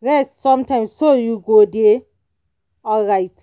rest sometimes so you go dey aright.